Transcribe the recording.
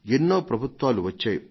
ఎన్నో ప్రభుత్వాలు వచ్చాయి